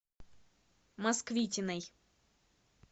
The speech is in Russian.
москвитиной